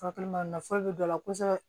Furakɛli ma nafa bɛ dɔ la kosɛbɛ